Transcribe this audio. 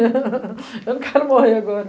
Eu não quero morrer agora.